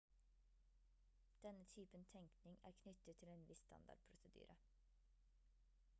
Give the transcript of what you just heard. denne typen tenkning er knyttet til en viss standardprosedyre